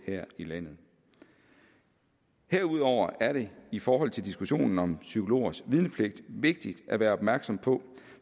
her i landet herudover er det i forhold til diskussionen om psykologers vidnepligt vigtigt at være opmærksom på